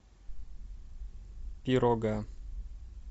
пирога